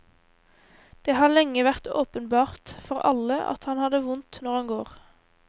Det har lenge vært åpenbart for alle at han har det vondt når han går.